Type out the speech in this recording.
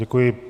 Děkuji.